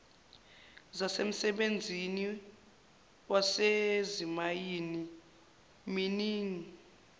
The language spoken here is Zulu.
zasemsebenzini wasezimayini mining